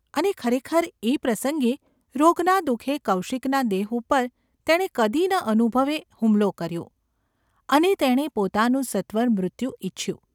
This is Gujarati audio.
અને ખરેખર એ પ્રસંગે રોગના દુ:ખે કૌશિકના દેહ ઉપર તેણે કદી ન અનુભવે હુમલો કર્યો, અને તેણે પોતાનું સત્વર મૃત્યુ ઇચ્છ્યું.